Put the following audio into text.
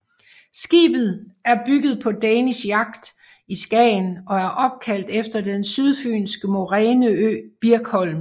Skibet er bygget på Danish Yacht i Skagen og er opkaldt efter den sydfynske moræneø Birkholm